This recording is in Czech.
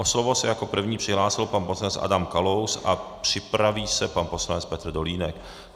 O slovo se jako první přihlásil pan poslanec Adam Kalous a připraví se pan poslanec Petr Dolínek.